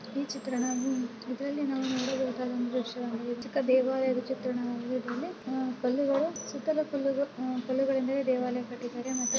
ಈ ಚಿತ್ರಣವು ಇದರಲ್ಲಿ ನಾವು ನೋಡಬಹುದಾದ ಒಂದು ವಿಷ್ಯ ಅಂದ್ರೆ ಚಿಕ್ಕ ದೇವಾಲಯದ ಚಿತ್ರಣವಾಗಿದೆ. ಇದರಲ್ಲಿ ಕಲ್ಲುಗಳು ಸುತ್ತಲೂ ಕಲ್ಲುಗಳು ಕಲ್ಲುಗಳಿಂದಲೇ ದೇವಾಲಯ ಕಟ್ಟಿದ್ದಾರೆ.